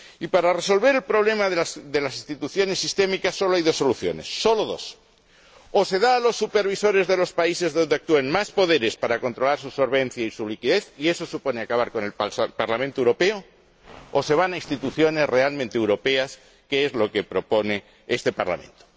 Para resolver el problema de las instituciones sistémicas solo hay dos soluciones, solo dos o se da a los supervisores de los países donde actúen más poderes para controlar su solvencia y su liquidez, y eso supone acabar con el Parlamento Europeo, o se dispone de instituciones realmente europeas, que es lo que propone este Parlamento.